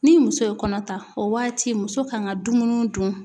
Ni muso ye kɔnɔ ta, o waati muso kan ka dumuni dun.